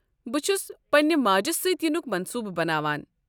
بہٕ چھُس پننہِ ماجہِ سۭتۍ یِنُک منصوٗبہٕ بناوان۔